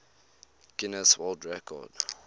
guinness world record